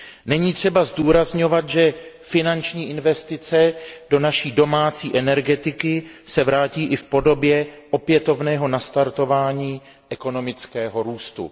Není třeba zdůrazňovat, že finanční investice do naší domácí energetiky se vrátí i v podobě opětovného nastartování ekonomického růstu.